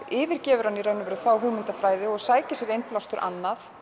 yfirgefur hann þá hugmyndafræði og sækir sér innblástur annað